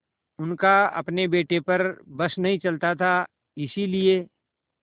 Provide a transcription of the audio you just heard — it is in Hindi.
उनका अपने बेटे पर बस नहीं चलता था इसीलिए